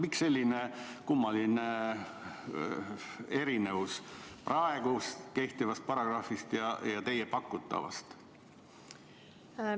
Miks on selline kummaline erinevus praegu kehtiva paragrahvi ja teie pakutava vahel?